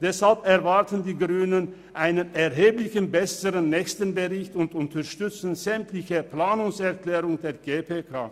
Deshalb erwarten die Grünen einen erheblich besseren nächsten Bericht und unterstützen sämtliche Planungserklärungen der GPK.